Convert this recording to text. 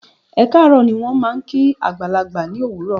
"Ẹ kaaro" ni wón máa ń kí àgbàlagbà ní òwúrò.